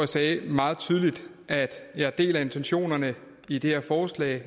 sagde meget tydeligt at jeg deler intentionerne i det her forslag